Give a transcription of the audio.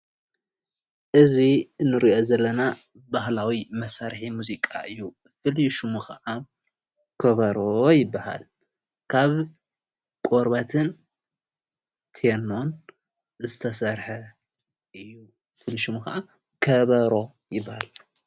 እዚ እንሪኦ ዘለና ባህላዊ መሣርሒ ሙዚቃ እዩ። ፍሉይ ሸሙ ከዓ ከበሮ ይበሃል። ካብ ቆርበትን ቴኖን ዝተሰርሐ ሽሙ ከዓ ከበሮ ይብሃል